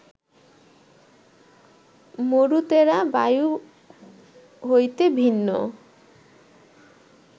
মরুতেরা বায়ু হইতে ভিন্ন